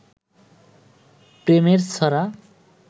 প্রেমের ছড়া